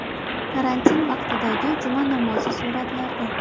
Karantin vaqtidagi juma namozi suratlarda.